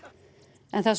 en það er